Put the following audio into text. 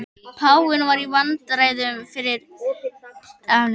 Páfinn í vandræðum með friðardúfur